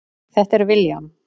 Þetta er William.